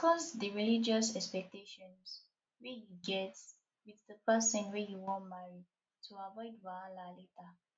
discuss di religious expectations wey you get with di person wey you wan marry to avoid wahala later